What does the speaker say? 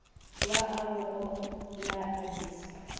wa au go la addis